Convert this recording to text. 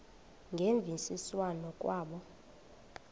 ngemvisiswano r kwabo